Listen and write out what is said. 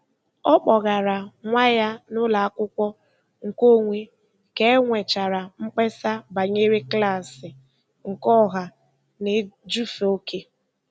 Ọ kpọgara nwa ya n'ụlọakwụkwọ nke onwe ka e nwechara mkpesa banyere klaasị nke ọha na-ejufe oke.